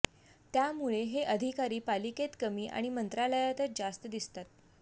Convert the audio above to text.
त्यामुळे हे अधिकारी पालिकेत कमी आणि मंत्रालयातच जास्त दिसतात